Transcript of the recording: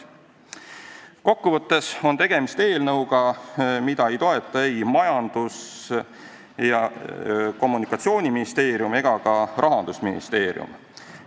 Kokku võttes on tegemist eelnõuga, mida ei toeta ei Majandus- ja Kommunikatsiooniministeerium ega ka Rahandusministeerium.